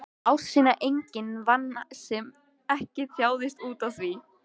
Ást sína enginn vann sem ekki þjáðist útaf því.